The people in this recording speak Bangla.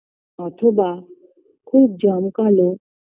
অথবা খুব জমকালো